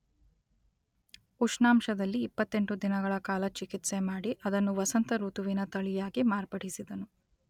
ಉಷ್ಣಾಂಶದಲ್ಲಿ ಇಪ್ಪತ್ತೆಂಟು ದಿನಗಳ ಕಾಲ ಚಿಕಿತ್ಸೆ ಮಾಡಿ ಅದನ್ನು ವಸಂತ ಋತುವಿನ ತಳಿಯಾಗಿ ಮಾರ್ಪಡಿಸಿದನು.